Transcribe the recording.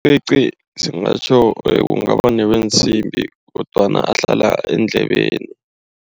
lcici singatjho, kungaba neweensimbi kodwana ahlala eendlebeni.